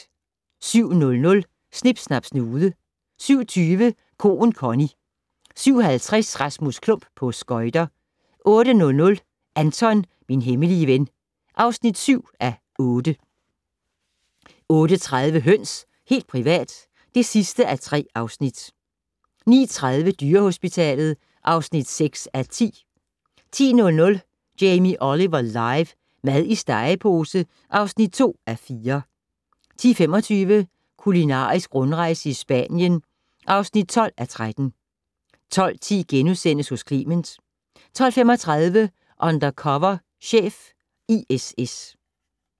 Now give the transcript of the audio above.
07:00: Snip Snap Snude 07:20: Koen Connie 07:50: Rasmus Klump - på skøjter 08:00: Anton - min hemmelige ven (7:8) 08:30: Høns - helt privat (3:3) 09:30: Dyrehospitalet (6:10) 10:00: Jamie Oliver live - mad i stegepose (2:4) 10:25: Kulinarisk rundrejse i Spanien (12:13) 12:10: Hos Clement * 12:35: Undercover chef - ISS